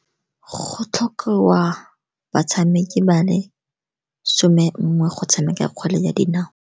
Go tlhokiwa batshameki ba le some nngwe go tshameka kgwele ya dinao.